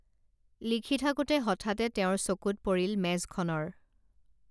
লিখি থাকোঁতে হঠাতে তেওঁৰ চকুত পৰিল মেজখনৰ